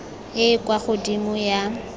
e e kwa godimo ya